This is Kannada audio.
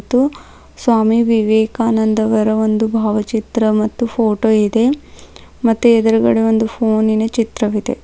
ಮತ್ತು ಸ್ವಾಮಿ ವಿವೇಕಾನಂದರ ಒಂದು ಭಾವಚಿತ್ರ ಮತ್ತು ಫೋಟೊ ಇದೆ ಮತ್ತೆ ಎದ್ರುಗಡೆ ಒಂದು ಫೋನಿನ ಚಿತ್ರವಿದೆ.